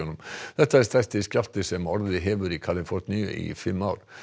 þetta er stærsti skjálfti sem orðið hefur í Kaliforníu í fimm ár